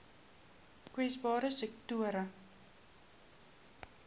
kwesbare sektore